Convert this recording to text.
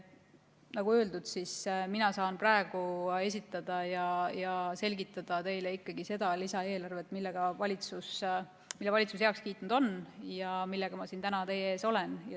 Nagu öeldud, saan mina praegu esitada ja selgitada teile seda lisaeelarvet, mille valitsus on heaks kiitnud ja millega ma siin täna teie ees olen.